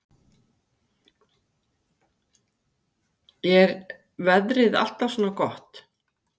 Jóhannes Stefánsson: Er veðrið alltaf svona gott?